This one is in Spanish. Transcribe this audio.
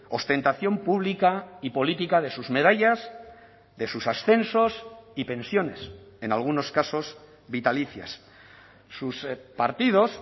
ostentación pública y política de sus medallas de sus ascensos y pensiones en algunos casos vitalicias sus partidos